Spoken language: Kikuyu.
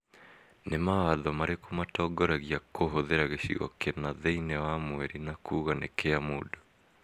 Nĩ mawatho marĩkũ matongoragia kũhũthĩra gĩcigo kĩna thĩinĩ wa Mweri na kuuga nĩ kĩa mũndũ?